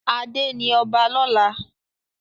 Ade ní ọba lọla.